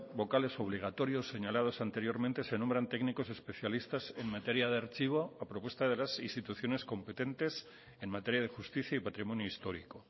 vocales obligatorios señalados anteriormente se nombran técnicos especialistas en materia de archivo a propuesta de las instituciones competentes en materia de justicia y patrimonio histórico